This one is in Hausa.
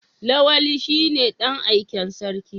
Lawali shine dan aiken sarki.